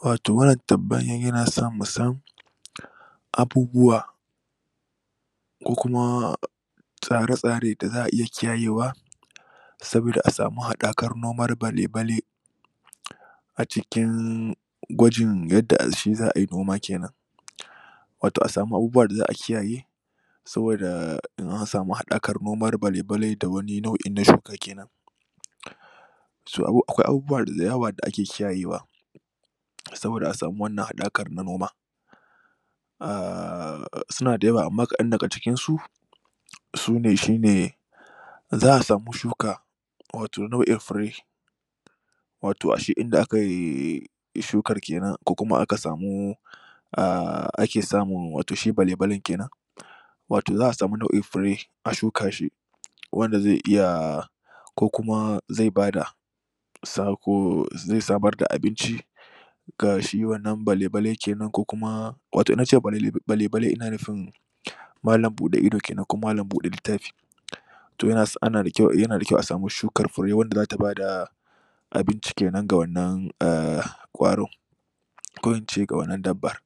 wato wannan tambayan yanaso musan abubuwa ko kuma tsara tsare da za'a iya kiyayewa saboda a samu hadakar noman bale-bale a cikin gwajin yadda shi za'ai noma kenan wato asamu abubuwan da za'a kiyaye saboda asamu hadakan noman bale-bale da wani nau'in na shuka ke nan akwai abubuwa dayawa da ake kiyayewa saboda asamu wannan hadakar na noma um sunada yawa amma kadan daga cikin su sune shine za'a samu shuka wato nau'in fure wato ashe inda akai shukar kenan ko kuma aka samu um ake samu wato shi bale-balen kenan wato za'a samu nau'in fure a shukar shi wanda zai iya ko kuma zai bada sako zai samar da abinci ga shi wannan bale-bale kenan ko kuma wato in nace bale-bale ina nufin malam bude idu kenan ko bude littafi to yana da kyau asamu shukar fure wanda zata bada abinci kenan ga wannan kwaro ko ince ga wannan dabbar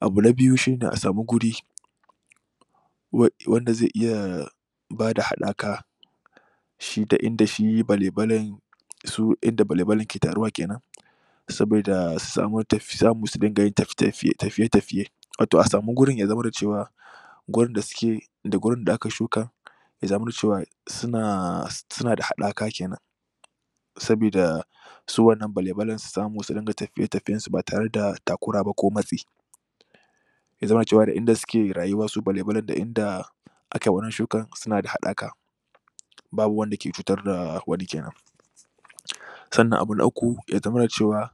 abu na biyu shine a samu wuri wanda ze iya bada hadaka shi da inada shi bale-bale su inda bale-bale ke taruwa kenan saboda su samu surika tafiye-tafiye wato asamu gurin ya zama da cewa gurin da suke da gurin da'a ka shuka ya zamana cewa suna da hadaka kenan sabida su wannan bale-bale su samu surika tafiye tafiyensu ba tare da takura ba ko matsi yazamana cewa da inda suke rayuwarsu bale-bale da inda akai wannan shukan suna da hadaka babu wanda ke cutar da wani kenan sannan abu na uku yazamana cewa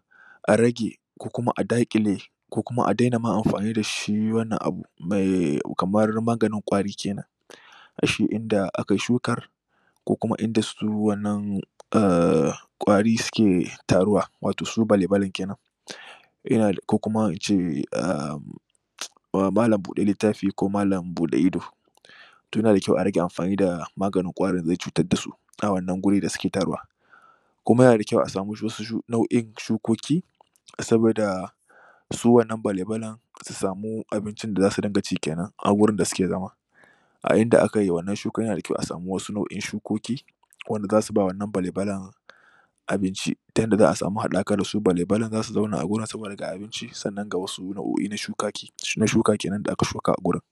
a rage ko kuma adakile ko kuma ma adena amfani da shi wannan abu mai kamar maganin kwari kenan a shi inda akai shukar ko kuma inda su wannan kwari suke taruwa wato su bale-balen kenan ina da um ko kuma ince um malam bude littafi ko malam bude idu to yana da kyau arage amfani da maganin kwari da ze cutar da su a wannan guri da suke taruwa kuma yanada kyau asamu wasu nau'in shukoki sabida su wannan bale=balen su sami abicin da zasu dinka ci kenan a gurin da suke zama a inda akai wannan shukan yana da kyau a samu wasu nau'in shukoki ko wanda zasu ba wannan bale-balen abinci ta yadda za'a samu hadaka da su bale-balen zasu zauna a wurin saboda ga abinci sannan ga wasu nau'oi na shuka kenan da aka shuka a wurin